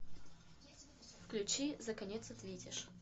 включи за конец ответишь